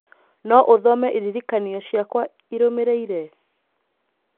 no ũthome ĩririkanio ciakwa ĩrũmĩrĩire.